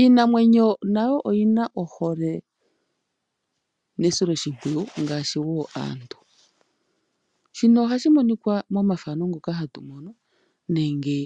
Iinamwenyo nayo oyina ohole nesiloshimpwiyu ngaashi wo aantu. Shino ohashi monikwa momafano ngoka hatu mono nenge